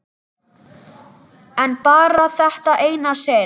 En bara þetta eina sinn.